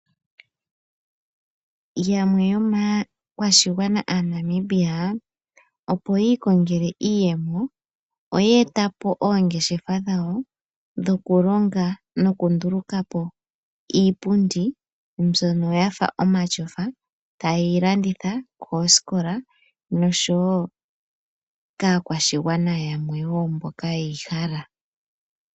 Yamwe yomaakwashigwana aaNamibia, opo yi ikongele iiyemo, oye e ta po oongeshefa dhawo dhokulonga nokunduluka po iipundi, mbyono yafa omatyofa, taye yi landitha koosikola nosho wo kaakwashigwana yamwe wo mboka ye yi hala.